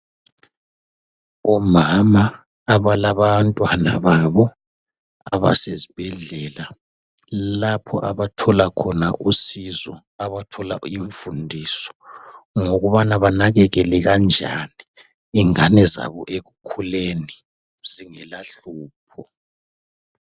Omama abalabantwana babo abasesi bhedlela lapho abathola khona usizo abathola imfundiso ngokubana banakekele kanjani abantwababo ekukhuleni zingela hlupho.